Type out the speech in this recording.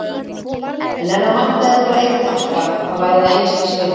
En ef það vantaði bara einn takka, þá væri það einskisvirði.